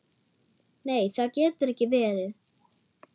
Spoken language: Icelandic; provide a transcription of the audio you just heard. Nei, það getur ekki verið.